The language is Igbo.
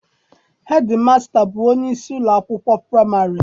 Hedimasịta bụ onyeisi ụlọakwụkwọ praịmarị.